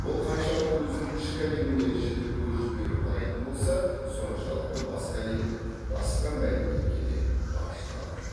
ол қаншалықты өзінің ішкі әлеміне жіті көз жіберіп қарайтын болса соншалықты басқа әлемге басқа мәдениетке де бағышталған